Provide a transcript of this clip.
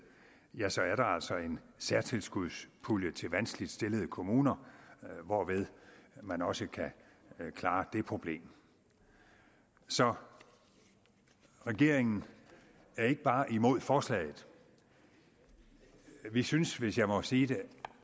ja så er der altså en særtilskudspulje til vanskeligt stillede kommuner hvorved man også kan klare det problem så regeringen er ikke bare imod forslaget vi synes hvis jeg må sige det